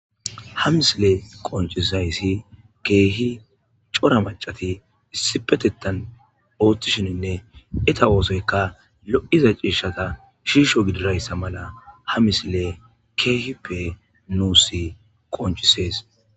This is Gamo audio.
ha misile qoncisaysi keehi cora macati issipetetan ooththishininne eta oosoyka lo7iza ciishata shiisho gidirayssa mala ha misile keehippe nuusi qoncisees